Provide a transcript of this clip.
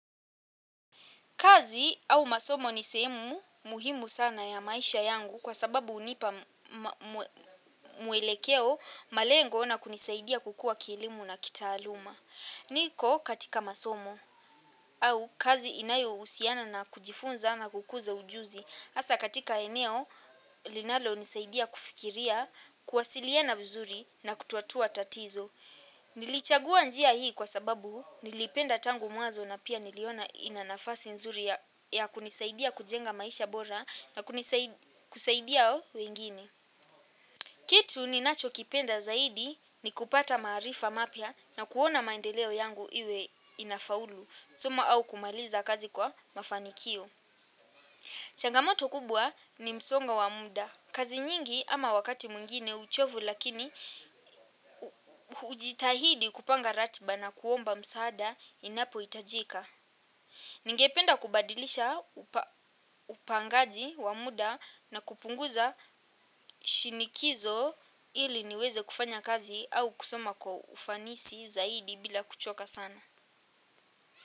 Kazi au masomo ni sehemu muhimu sana ya maisha yangu kwa sababu hunipa mwelekeo, malengo na kunisaidia kukua kielimu na kitaaluma. Niko katika masomo au kazi inayohusiana na kujifunza na kukuza ujuzi. Hasa katika eneo linalonisaidia kufikiria, kuwasiliana vizuri na kutuatua tatizo. Nilichagua njia hii kwa sababu nilipenda tangu mwazo na pia niliona ina nafasi nzuri ya kunisaidia kujenga maisha bora na kusaidia wengine. Kitu ninachokipenda zaidi ni kupata maarifa mapya na kuona maendeleo yangu iwe inafaulu suma au kumaliza kazi kwa mafanikio. Changamoto kubwa ni msongo wa mda. Kazi nyingi ama wakati mwingine uchovu lakini hujitahidi kupanga ratiba na kuomba msaada inapohitajika. Ningependa kubadilisha upangaji wa muda na kupunguza shinikizo ili niweze kufanya kazi au kusoma kwa ufanisi zaidi bila kuchoka sana.